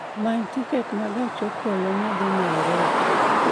Many tiket ma gach okoloma dhi Nairobi